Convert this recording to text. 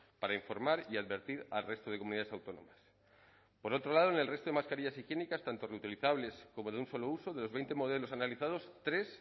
para informar y advertir al resto de comunidades autónomas por otro lado en el resto de mascarillas higiénicas tanto reutilizables como de un solo uso de los veinte modelos analizados tres